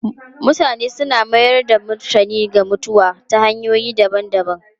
Mutane suna mayar da martani ga mutuwa ta hanyoyi daban-daban.